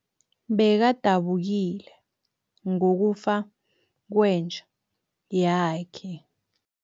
Bekadabukile ngokufa kwenja yakhe.